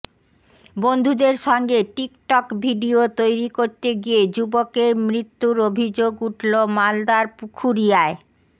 বন্ধুদের সঙ্গে TikTok video তৈরি করতে গিয়ে যুবকের মৃত্যুর অভিযোগ উঠল মালদার পুখুরিয়ায়